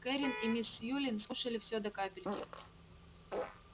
кэррин и мисс сьюлин скушали всё до капельки